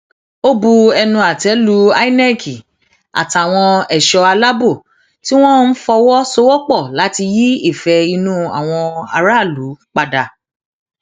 ó bu ẹnu àtẹ lu inec àtàwọn ẹṣọ aláàbò tí wọn fọwọ sowọpọ láti yí ìfẹ inú àwọn aráàlú padà